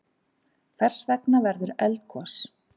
Hvers vegna verður eldgos?